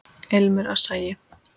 Ilmur af sagi.